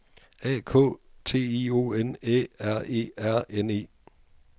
A K T I O N Æ R E R N E